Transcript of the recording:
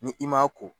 Ni i m'a ko